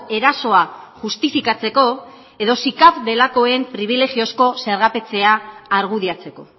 erasoa justifikatzeko edo sicav delakoen pribilejiozko zergapetzea argudiatzeko